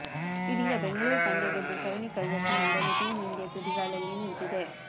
ಇದೀಗ ಬೆಂಗಳೂರು ಪಂದ್ಯ ಗೆದ್ದು ಸರಣಿ ಕೈವಶ ಮಾಡಲು ಟೀಂ ಇಂಡಿಯಾ ತುದಿಗಾಲಲ್ಲಿ ನಿಂತಿದೆ